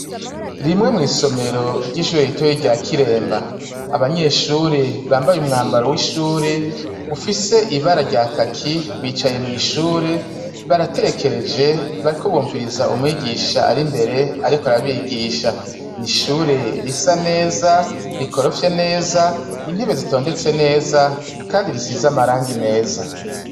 Rimwe mw'isomero ry'ishure gitoyi rya kiremba abanyeshure bambaye umwambaro w'ishure ufise ibara rya kaki bicaye mw'ishure baratekereje barikobumviriza umwigisha ari imbere, ariko arabigisha ni ishure risa neza rikorofye neza intebee zitondetse neza, kandi risiza amaranga meza.